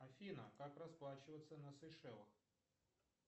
афина как расплачиваться на сейшелах